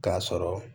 K'a sɔrɔ